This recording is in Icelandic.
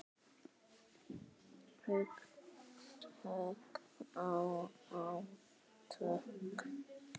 Hugtök og átök.